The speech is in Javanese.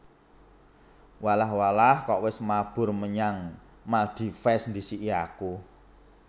Walah walah kok wes mabur menyang Maldives ndhisiki aku